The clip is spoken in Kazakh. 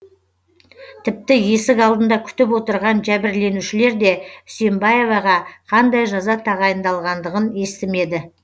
тіпті есік алдында күтіп отырған жәбірленушілер де үсембаеваға қандай жаза тағайындалғандығын естімеді